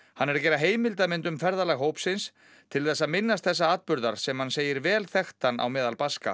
hann er að gera heimildamynd um ferðalag hópsins til þess að minnast þessa atburðar sem hann segir vel þekktan á meðal Baska